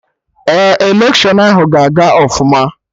Ee, electiọnụ ahụ ga aga ọfụma